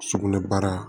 Sugunɛbara